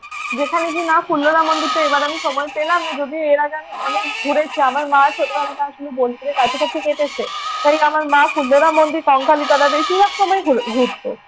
যেখানে গিয়ে মা ফুল্লরা মন্দিরটা এবার আমি সময় পেলাম না যদিও এর আগে আমি অনেক ঘুরেছি। আমার মায়ের ছোটবেলাটা আসলে বোলপুরের কাছাকাছি কেটেছে। তাই আমার মা ফুল্লরা মন্দির, কঙ্কালীতলা বেশিরভাগ সময় ঘুরতো।